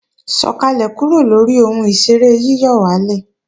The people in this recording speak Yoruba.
Sọ̀kàlẹ̀ kúrò lóri ohun ìṣeré yíyọ̀wálè!